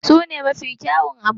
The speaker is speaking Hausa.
Su ne mafi kyawun abokai.